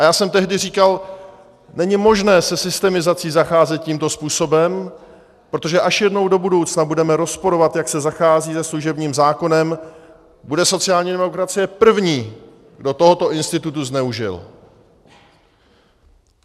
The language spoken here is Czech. A já jsem tehdy říkal, není možné se systemizací zacházet tímto způsobem, protože až jednou do budoucna budeme rozporovat, jak se zachází se služebním zákonem, bude sociální demokracie první, kdo tohoto institutu zneužil.